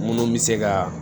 Munnu bɛ se ka